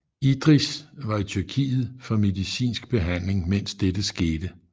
Idris var i Tyrkiet for medicinsk behandling mens dette skete